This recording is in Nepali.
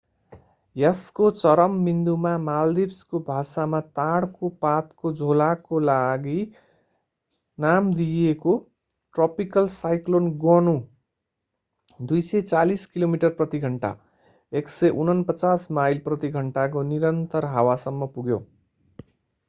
यसको चरम विन्दुमा मालदिभ्सको भाषामा ताडको पातको झोलाका लागि नाम दिइएको ट्रपिकल साइक्लोन गोनु 240 किलोमिटर प्रति घण्टा 149 माइल प्रति घण्टा को निरन्तर हावासम्म पुग्यो।